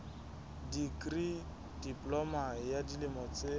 dikri diploma ya dilemo tse